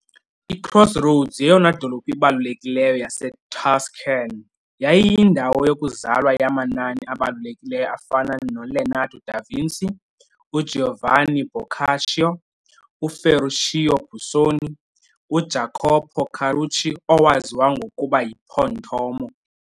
I-Crossroads yeyona dolophu ibalulekileyo yaseTuscan, yayiyindawo yokuzalwa yamanani abalulekileyo afana noLeonardo da Vinci, uGiovanni Boccaccio, uFerruccio Busoni, uJacopo Carucci owaziwa ngokuba yiPontormo.